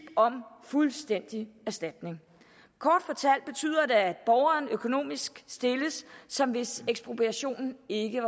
om fuldstændig erstatning kort fortalt betyder det at borgeren økonomisk stilles som hvis ekspropriationen ikke